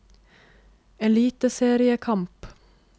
eliteseriekamp